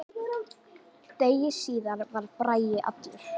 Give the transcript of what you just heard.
Degi síðar var Bragi allur.